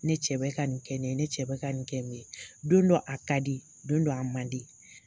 Ne cɛ bɛ ka ni kɛ ne ye, ne cɛ bɛ ka nin kɛ ne ye, don dɔ a ka di, don don a man di